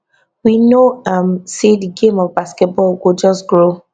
we know um say di game of basketball go just grow